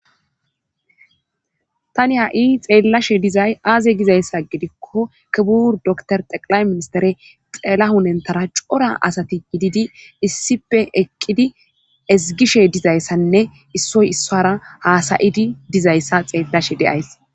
tani ha7i xeellashe dizay aaze gizayssa gidikko kibur dokor xeqilay ministere xeela hunentara cora asati gididi issipe eqqidi ezgishe dizayssanne issoy issoara haasayidi dizayssa xeellashe deyays